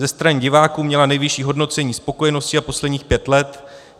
Ze strany diváků měla nejvyšší hodnocení spokojenosti za posledních pět let.